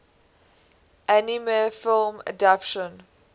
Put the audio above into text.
anime film adaptation